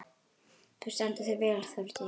Þú stendur þig vel, Þórdís!